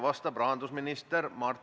Vastab peaminister Jüri Ratas.